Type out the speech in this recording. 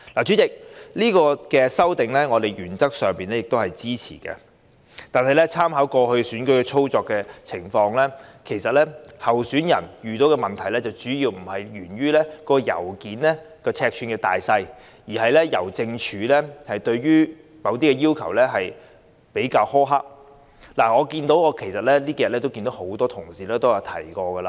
主席，我們原則上支持這項修訂，但參考過去選舉實際操作的情況，候選人遇到的問題並非信件尺寸大小，而是香港郵政對某些要求比較苛刻，這兩天亦有不少同事提過這點。